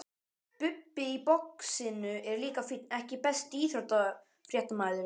Bubbi í boxinu er líka fínn EKKI besti íþróttafréttamaðurinn?